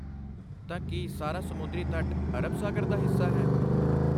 ਤਾਂ, ਕੀ ਸਾਰਾ ਸਮੁੰਦਰੀ ਤੱਟ ਅਰਬ ਸਾਗਰ ਦਾ ਹਿੱਸਾ ਹੈ?